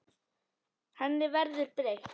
Henni verður ekki breytt.